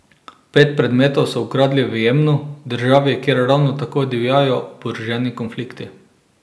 Pet predmetov so ukradli v Jemnu, državi kjer ravno tako divjajo oboroženi konflikti.